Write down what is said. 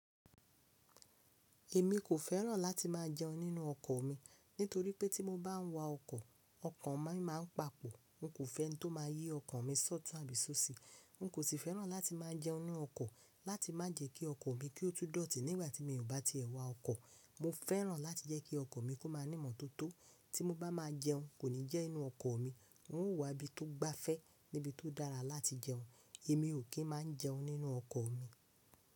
Èmi kò fẹ́ràn láti má a jẹun nínú ọkọ̀ mi nítorí pé tí mo bá ń wa ọkọ̀, ọkàn mi má ń papọ̀. Mo kò fẹ́ ẹni tó máa yí ọkàn mi ṣótù àbí ṣóṣe. Mo kò tí fẹ́ràn láti má a jẹun nínú ọkọ̀ láti má jẹ kí ọkọ̀ mi kí ó tó dọ̀tí nígbà tí mi ò bá tiẹ̀ wá ọkọ̀. Mo fẹ́ràn láti jẹ́ kí ọkọ̀ mi kó má ní ìmọ̀tótó tí mo bá máa jẹun, kò ní jẹ́ nínú ọkọ̀ mi. N ó wá ibi tó gbáfẹ́ níbi tó dára láti jẹun. Èmi ò kí n máa jẹun nínú ọkọ̀ mi.